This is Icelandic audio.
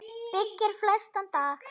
byggir flestan dag